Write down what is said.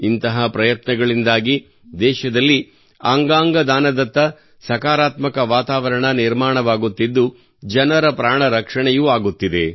ಇಂತಹ ಪ್ರಯತ್ನಗಳಿಂದಾಗಿ ದೇಶದಲ್ಲಿ ಅಂಗಾಂಗ ದಾನದತ್ತ ಸಕಾರಾತ್ಮಕ ವಾತಾವರಣ ನಿರ್ಮಾಣವಾಗುತ್ತಿದ್ದು ಜನರ ಪ್ರಾಣರಕ್ಷಣೆಯೂ ಆಗುತ್ತಿದೆ